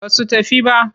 Ba su tafi ba.